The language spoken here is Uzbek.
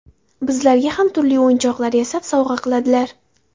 Bizlarga ham turli o‘yinchoqlar yasab, sovg‘a qiladilar.